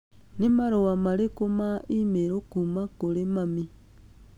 Nĩ marũa marĩkũ ma e-mail kuuma kũrĩ mami?